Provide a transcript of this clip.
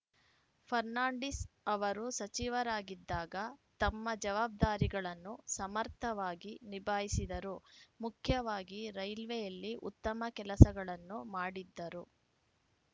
ಫರ್ನಾಂಡಿಸ್‌ ಅವರು ಸಚಿವರಾಗಿದ್ದಾಗ ತಮ್ಮ ಜವಾಬ್ದಾರಿಗಳನ್ನು ಸಮರ್ಥವಾಗಿ ನಿಭಾಯಿಸಿದರು ಮುಖ್ಯವಾಗಿ ರೈಲ್ವೆಯಲ್ಲಿ ಉತ್ತಮ ಕೆಲಸಗಳನ್ನು ಮಾಡಿದ್ದರು